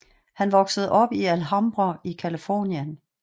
Han voksede op i Alhambra i California